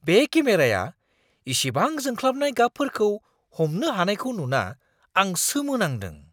बे केमेराया इसेबां जोंख्लाबनाय गाबफोरखौ हमनो हानायखै नुना आं सोमो नांदों!